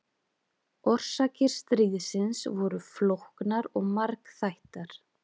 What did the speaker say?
Orsakir stríðsins voru flóknar og margþættar.